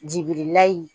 Jigila in